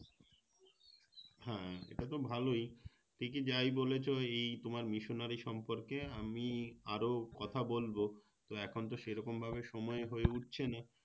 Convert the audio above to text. হ্যাঁ এটাতো ভালোই ঠিকই যাই বলেছো এই তোমার Missionary সম্পর্কে আমি আরও কথা বলবো তো এখনতো সেরকমভাবে সময় হয়ে উঠছে না